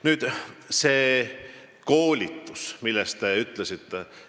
Nüüd sellest koolitusest, millest te rääkisite.